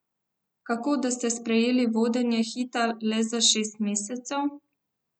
Kako, da ste sprejeli vodenje Hita le za šest mesecev?